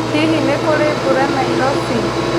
Hihi nĩ kũrĩ mbura Nairobi